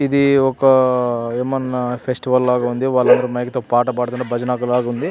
ఇది ఒక ఆహ్ ఏమన్నా ఫెస్టివల్ లాగ ఉంది వాళ్లు పాట పాడ్తూ బజనలాగా ఉంది --